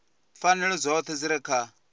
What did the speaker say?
pfanelo dzoṱhe dzi re kha